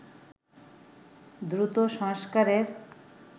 দ্রুত সংস্কারের